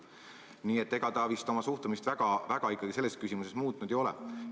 Nii et ega ta vist oma suhtumist selles küsimuses muutnud ei ole.